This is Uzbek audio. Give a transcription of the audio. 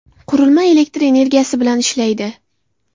Qurilma elektr energiyasi bilan ishlaydi.